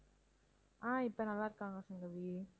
ஆஹ் இப்ப நல்லா இருக்காங்க சங்கவி